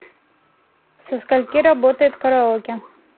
со скольки работает караоке